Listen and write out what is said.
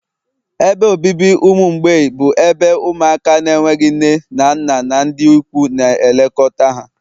ebe obibi ụmụ mgbei bụ ebe ụmụaka na-enweghị nne na nna na ndị ikwu na-elekọta ha